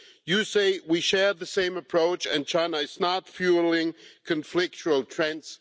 You say we share the same approach and China is not fuelling conflictual trends.